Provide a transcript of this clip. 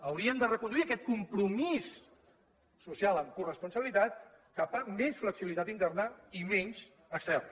hauríem de reconduir aquest compromís social amb coresponsabilitat cap a més flexibilitat interna i menys externa